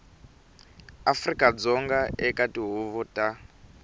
afrika dzonga eka tihuvo ta